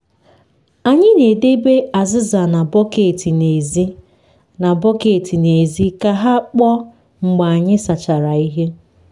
anyị na-edebe azịza na bọket n’èzí na bọket n’èzí ka ha kpoo mgbe anyị sachara ihe.